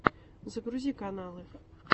загрузи каналы